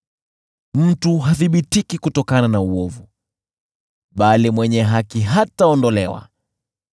Mtu hathibitiki kutokana na uovu, bali mwenye haki hataondolewa.